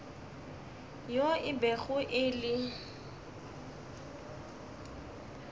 yo e bego e le